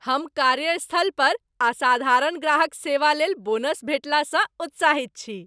हम कार्यस्थलपर असाधारण ग्राहक सेवालेल बोनस भेटलासँ उत्साहित छी।